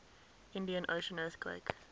indian ocean earthquake